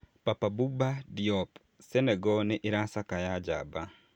Papa Bouba Diop: Senegal nĩ ĩracakaya njamba